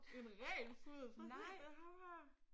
En ren puddel! Prøv at se det ham her